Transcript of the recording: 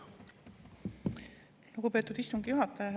Lugupeetud istungi juhataja!